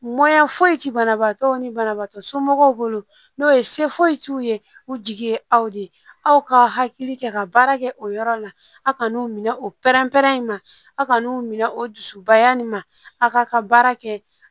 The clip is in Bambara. foyi ti banabaatɔ ni banabaatɔ somɔgɔw bolo n'o ye se foyi t'u ye u jigi ye aw de ka hakili kɛ ka baara kɛ o yɔrɔ la a kanu minɛ o pɛrɛn pɛrɛn in ma a kanu minɛ o dusubaya nin ma a k'a ka baara kɛ